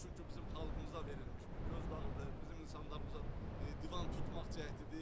Bu çünki bizim xalqımıza verilmiş bir göz dağıdır, bizim insanlarımıza divan tutmaq cəhdidir.